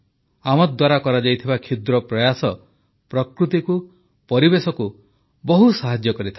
ଆମଦ୍ୱାରା କରାଯାଇଥିବା କ୍ଷୁଦ୍ର ପ୍ରୟାସ ପ୍ରକୃତିକୁ ପରିବେଶକୁ ବହୁ ସାହାଯ୍ୟ କରିଥାଏ